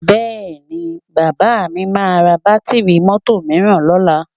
Bẹ́ẹ̀ni, bàbá mi máa ra bátíìrì mọ́tò mìíràn lọ́la